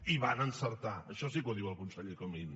i van encertar això sí que ho diu el conseller comín